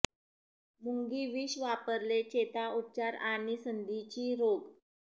मुंगी विष वापरले चेता उपचार आणि संधींची रोग